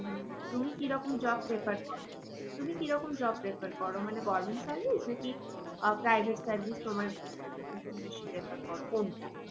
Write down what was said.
উম তুমি কি রকম job prefer করো? তুমি কি রকম job prefer করো মানে government service নাকি আহ private service তোমার বেশি prefer করো কোনটা?